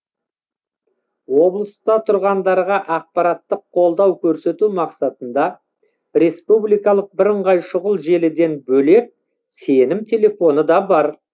облыста тұрғындарға ақпараттық қолдау көрсету мақсатында республикалық бірыңғай шұғыл желіден бөлек сенім телефоны да бар